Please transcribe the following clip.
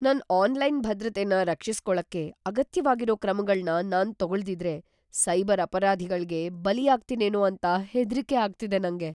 ನನ್ ಆನ್ಲೈನ್ ಭದ್ರತೆನ ರಕ್ಷಿಸ್ಕೊಳಕ್ಕೆ ಅಗತ್ಯವಾಗಿರೋ ಕ್ರಮಗಳ್ನ ನಾನ್ ತಗೊಳ್ದಿದ್ರೆ, ಸೈಬರ್ ಅಪರಾಧಿಗಳ್ಗೆ ಬಲಿಯಾಗ್ತೀನೇನೋ ಅಂತ ಹೆದ್ರಿಕೆ ಆಗ್ತಿದೆ ನಂಗೆ.